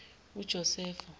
ujosefo